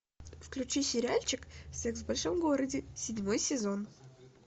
включи сериальчик секс в большом городе седьмой сезон